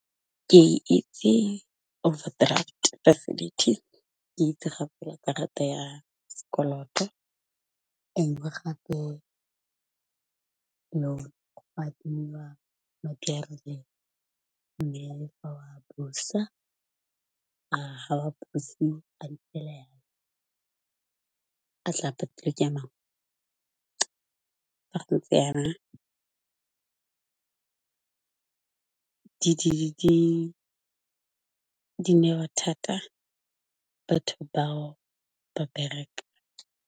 Ke itse overdraft facility. Ke itse gape le karata ya sekoloto, e ngwe gape le go adima madi a a rileng mme fa o a busa ga wa buse a a tla patelwa ke a mangwe, fa go ntse jana di newa thata batho bao ba bereka.